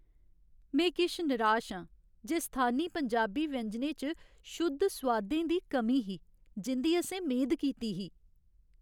में किश निराश आं जे स्थानी पंजाबी व्यंजनें च शुद्ध सोआदें दी कमी ही जिं'दी असें मेद कीती ही।